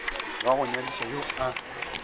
wa go nyadiša yo a